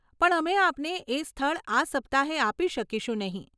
પણ અમે આપને એ સ્થળ આ સપ્તાહે આપી શકીશું નહીં.